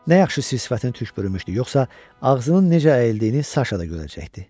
Nə yaxşı sir-sifətini tük bürümüşdü, yoxsa ağzının necə əyildiyini Saşa da görəcəkdi.